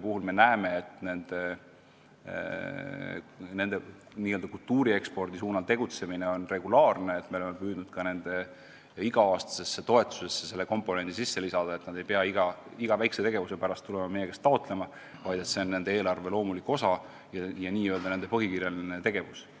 puhul me näeme, et nende tegutsemine kultuuri ekspordi suunal on regulaarne, me oleme püüdnud nende iga-aastase toetuse saamise tingimustesse lisada, et nad ei pea iga väikse ettevõtmise pärast tulema meie käest raha taotlema, vaid see on nende eelarve loomulik osa, n-ö nende põhikirjaline tegevus.